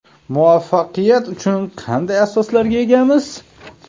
Muvaffaqiyat uchun qanday asoslarga egamiz?